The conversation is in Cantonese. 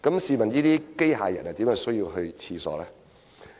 試問機械人怎會有需要上廁所呢？